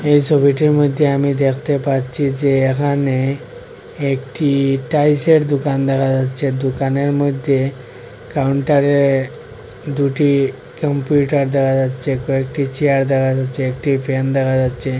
এই সবিটির মইদ্যে আমি দ্যাখতে পাচ্ছি যে এখানে একটি টাইল সের দুকান দেখা যাচ্ছে দুকানের মইদ্যে কাউন্টারে দুটি কম্পিউটার দেহা যাচ্চে কয়েকটি চেয়ার দেহা যাচ্চে একটি ফ্যান দেহা যাচ্চে ।